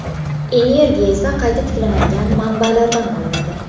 Energiya esa qayta tiklanadigan manbalardan olinadi.